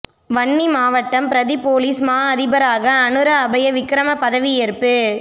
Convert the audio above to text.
வன்னி மாவட்ட பிரதி பொலிஸ் மா அதிபராக அனுர அபய விக்கிரம பதவியேற்பு